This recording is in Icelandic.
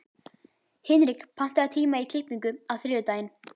Hinrik, pantaðu tíma í klippingu á þriðjudaginn.